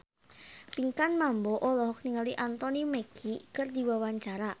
Pinkan Mambo olohok ningali Anthony Mackie keur diwawancara